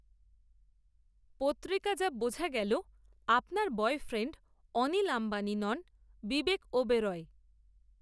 পত্রিকা যা বোঝা গেল আপনার বয়ফ্রেণ্ড, অনিল আম্বানি নন, বিবেক ওবেরয়